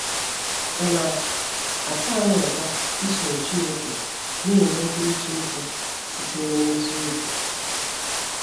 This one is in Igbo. Ọ̀ na - atọ anyị ụtọ isoro Chineke na - enwe nkwurịta okwu sitere n’ezi obi?